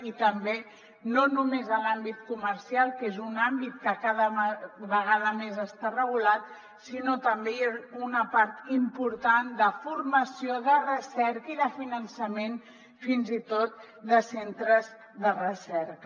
i també no només en l’àmbit comercial que és un àmbit que cada vegada més està regulat sinó també una part important de formació de recerca i de finançament fins i tot de centres de recerca